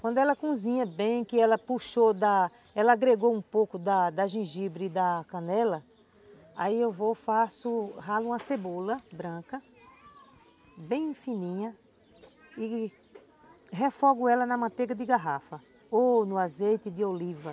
Quando ela cozinha bem, que ela puxou da, ela agregou um pouco da da gengibre e da canela, aí eu vou, faço, ralo uma cebola branca, bem fininha, e refogo ela na manteiga de garrafa ou no azeite de oliva.